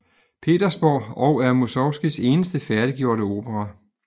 Petersborg og er Musorgskijs eneste færdiggjorte opera